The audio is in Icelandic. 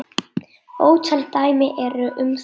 Ótal dæmi eru um þetta.